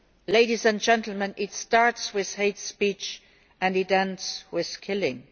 Ladies and Gentlemen, it starts with hate speech and it ends with killing.